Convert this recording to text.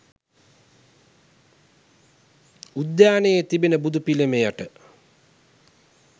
උද්‍යානයේ තිබෙන බුදු පිළිමයට